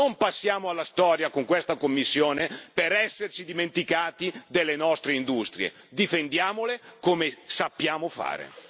Non passiamo alla storia con questa Commissione per esserci dimenticati delle nostre industrie, ma difendiamole come sappiamo fare.